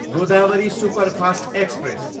Godavari superfast express